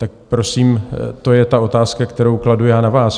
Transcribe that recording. Tak prosím, to je ta otázka, kterou kladu já na vás.